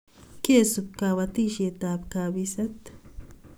Kesup kapatisiet ab kapiset